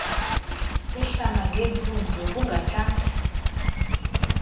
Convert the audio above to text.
ehlala ngeempundu ubungathanga